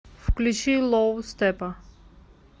включи лоу степпа